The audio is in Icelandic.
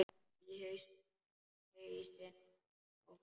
Í hausinn á honum.